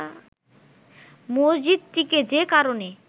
মসজিদটিকে যে কারণে